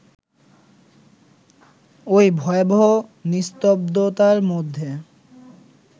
এই ভয়ানক নিস্তব্ধতার মধ্যে